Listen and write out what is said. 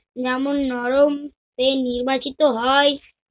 যেমন নরম, এই নির্বাচিত হয়।